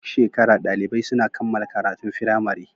Duk shekara dalibai suna kammala karatun firamare